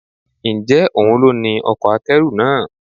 Ǹjẹ́ òun ló ní ọkọ̀ akẹ́rù náà?